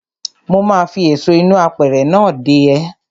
Mo ma fi èso inú apẹ̀rẹ̀ náà dè ẹ́.